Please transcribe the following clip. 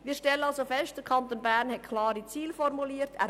Wir stellen also fest, dass der Kanton Bern klare Ziele formuliert hat.